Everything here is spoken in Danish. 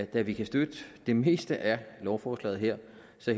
da vi kan støtte det meste af lovforslaget her